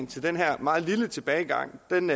til den her meget lille tilbagegang kan